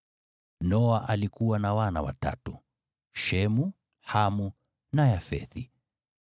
Noa alikuwa na wana watatu: Shemu, Hamu na Yafethi.